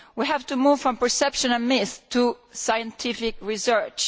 We have to move from perception and myth to scientific research.